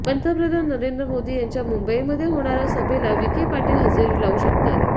पंतप्रधान नरेंद्र मोदी यांच्या मुंबईमध्ये होणाऱ्या सभेला विखे पाटील हजेरी लावू शकतात